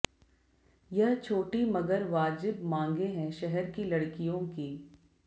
यह छोटी मगर वाजिब मांगे हैं शहर की लड़कियों की